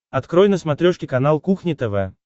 открой на смотрешке канал кухня тв